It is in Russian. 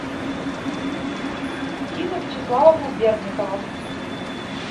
дина вячеславовна берникова